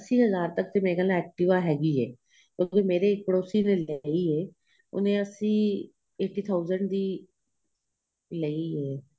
ਅੱਸੀ ਹਜ਼ਾਰ ਤੱਕ ਮੇਰੇ ਖ਼ਿਆਲ activa ਹੈਗੀ ਏ ਕਿਉਂਕਿ ਮੇਰੇ ਇੱਕ ਪੜੋਸੀ ਨੇ ਲਈ ਏ ਉਹਨੇ ਅੱਸੀ eighty thousand ਦੀ ਲਈ ਏ